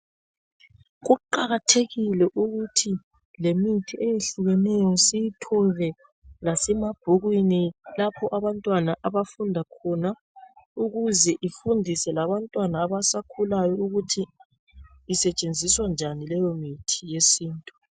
Kuqakathekile ukuthi lemithi eyehlukeneyo siyithole lasemabhukwini lapho abantwana abafunda khona ukuze ifundise labantwana abasakhulayo ukuthi isetshenziswa njani leyomithi.